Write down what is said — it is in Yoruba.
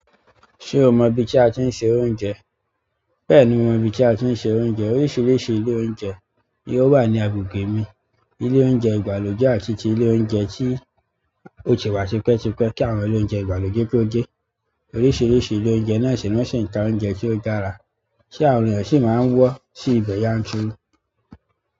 Ṣe o mọ ibi ti a tin ṣe oúnjẹ. Bẹ́ẹ̀ni mo mọ ibi tí a ti ń ṣe oúnjẹ. Oríṣiríṣi ile oúnjẹ ni o wa ni agbègbè mi ilé oúnjẹ ìgbàlódé àti ti ilé oúnjẹ tí ó ti wà tipẹ́tipẹ́ kí àwọn ilé oúnjẹ ìgbàlódé tó de oríṣiríṣi ilé oúnjẹ náà sì ni wọn si n ta oúnjẹ tí ó dára tí àwọn ènìyàn sì máa ń wọ̀ sí ibẹ̀ yanturu.